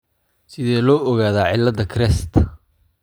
Sidee loo ogaadaa cilada CREST ?